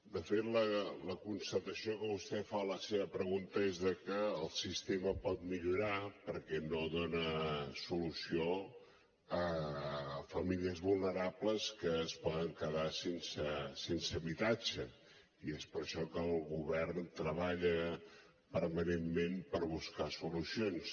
de fet la constatació que vostè fa en la seva pregunta és que el sistema pot millorar perquè no dona solució a famílies vulnerables que es poden quedar sense habitatge i és per això que el govern treballa permanentment per buscar solucions